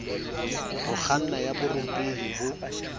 ho kganna ya borutehi bo